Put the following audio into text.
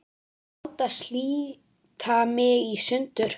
Láta slíta mig í sundur.